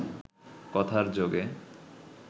কথার যোগে